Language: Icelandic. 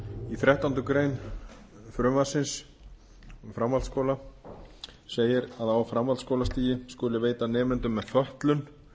þrettánda frumvarpsins um framhaldsskóla segir að á framhaldsskólastigi skuli veita nemendum með fötlun